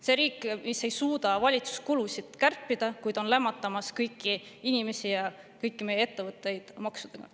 See riik, mis ei suuda valitsuskulusid kärpida, kuid lämmatab kõiki inimesi ja kõiki meie ettevõtteid maksudega.